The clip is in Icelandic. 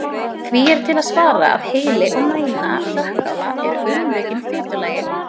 Því er til að svara að heili og mæna hrökkála eru umlukin fitulagi.